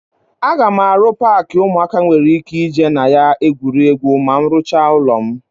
Aga m arụ paakị ụmụaka nwere ike ị jee na ya egwuri egwu ma m rụchaa ụlọ m.